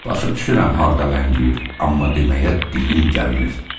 Başa düşürəm harda ləngiyir, amma deməyə dilim gəlmir.